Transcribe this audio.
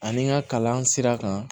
Ani n ka kalan sira kan